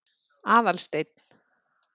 Aðalsteinn